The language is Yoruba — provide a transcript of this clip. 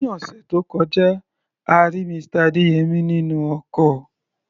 Ní ọ̀sẹ̀ tó kọjá, a rí Mr. Adeyemi nínú ọkọ̀.